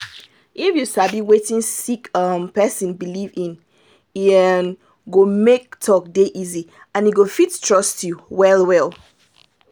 if you sabi wetin a sick um person believe in e um go make talk dey easy and e go fit trust you well well